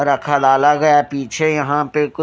रखा लाला गया है पीछे यहाँ पर कुछ --